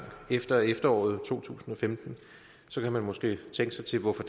efter efteråret to tusind og femten så kan man måske tænke sig til hvorfor